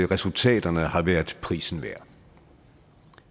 resultaterne har været prisen værd